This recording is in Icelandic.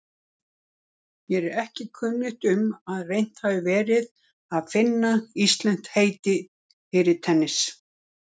Mér er ekki kunnugt um að reynt hafi verið að finna íslenskt heiti fyrir tennis.